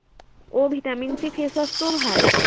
অ vitamin C face wash টোও ভাল